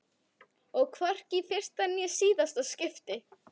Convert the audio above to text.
Og hvorki í fyrsta né síðasta skipti.